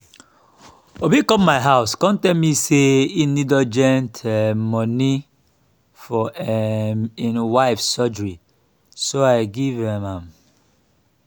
obi come my house come tell me say he need urgent um money for um im wife surgery so i give um am